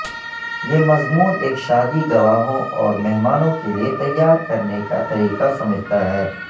یہ مضمون ایک شادی گواہوں اور مہمانوں کے لئے تیار کرنے کا طریقہ سمجھتا ہے